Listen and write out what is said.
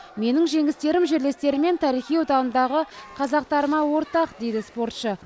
менің жеңістерім жерлестерім мен тарихи отанымдағы қазақтарыма ортақ дейді спортшы